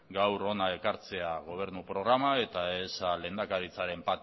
gaur hona ekartzea gobernu programa eta ez lehendakaritzaren